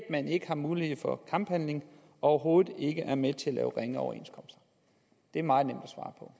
at man ikke har mulighed for kamphandlinger overhovedet ikke er med til at ringere det er meget nemt